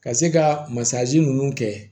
Ka se ka masazi ninnu kɛ